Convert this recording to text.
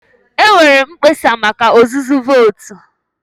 E nweere mkpesa maka ọzụzụ vootu.